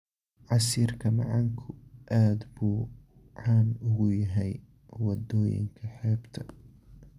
Casiirka macaanku aad buu caan ugu yahay waddooyinka xeebta.